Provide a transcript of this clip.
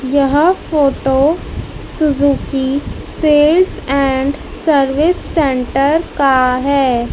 यह photo Suzuki sales and service centre का हैं।